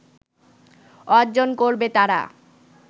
অর্জন করবে তারা